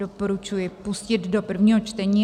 Doporučuji pustit do prvního čtení.